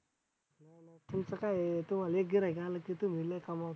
तुमचं काय आहे तुम्हाला एक गिर्हाईक आलं की तुम्ही लई कमावताय.